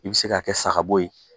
I bɛ se k'a kɛ sagabo ye.